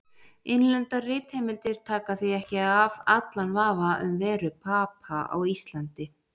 Innlendar ritheimildir taka því ekki af allan vafa um veru Papa á Íslandi.